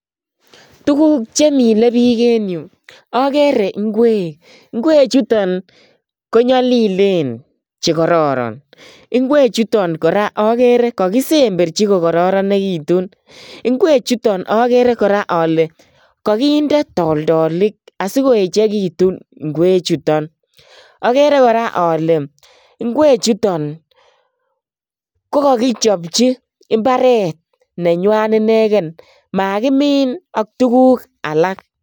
Tukuk chemile biik eng yu akere ikwek, ikwek chuton ko nyalilen che kororon ikwek chuto akere kora ale kakisemberji kokororenitu ikwech chuton akere kora ale kakinde toltolik asi koe chekitu ikwek chuton akere kora ale ikwechuto ko kakichobji imbaret nekwan ineken makimin ak tukuk alak.